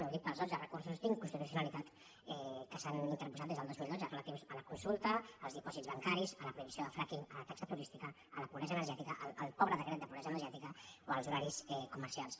ho dic pels dotze recur·sos d’inconstitucionalitat que s’han interposat des del dos mil dotze relatius a la consulta als dipòsits bancaris a la prohibició del frackingenergètica al pobre decret de pobresa energètica o als horaris comercials